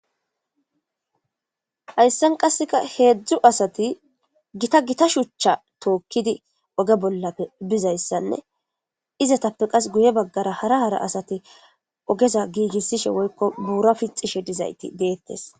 hayssan qasseka heedzdzu asati gita gita shuchcha tookkidi oge bollappe bizayssanne izatappe qas guye baggara hara hara asati ogeza giigissishe woykko buura pixishe dizayti deettes